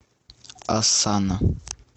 осанна